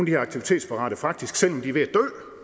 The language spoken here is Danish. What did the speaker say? her aktivitetsparate faktisk selv om de er ved